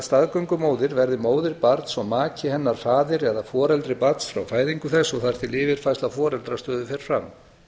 staðgöngumóðir verði móðir barns og maki hennar faðir eða foreldri barns frá fæðingu þess og þar til yfirfærsla foreldrastöðu fer fram